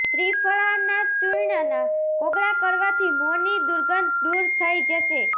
ત્રિફળા ના ચૂર્ણ ના કોગળા કરવાથી મોં ની દુર્ગંધ દુર થઇ જશે